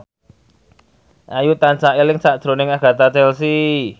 Ayu tansah eling sakjroning Agatha Chelsea